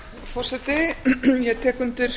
forseti ég tek undir